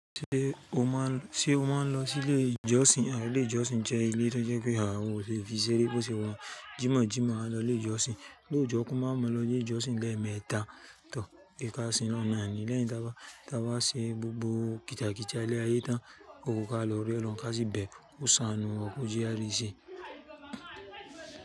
Ṣé o máa ń lọ sí ilé ìjọsìn? Ilé ìjọsìn jẹ́ ilé tó jẹ́ pé hun o le fi ṣeré bó ṣe wa hun. Jímọ̀jímọ̀ a lọ ilé ìjọsìn, lóòjọ́ kan máa mọ lọ ilé ìjọsìn lẹ́ẹ̀mẹta tọ ìká sí i lọ́na ni lẹ́yìn táa bá ṣe gbogbo kítakítà ilé ayé tán, o kò ka lọ rí ẹ lọ ká síbẹ̀, o sanù wọn kò jẹ́ a rí i ṣe.